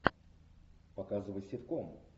показывай ситком